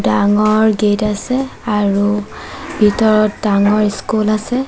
ডাঙৰ গেট আছে আৰু ভিতৰত ডাঙৰ স্কুল আছে।